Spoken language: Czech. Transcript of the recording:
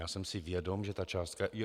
Já jsem si vědom, že ta částka...